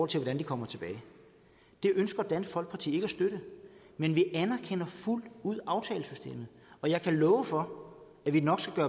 til hvordan de kommer tilbage det ønsker dansk folkeparti ikke at støtte men vi anerkender fuldt ud aftalesystemet og jeg kan love for at vi nok skal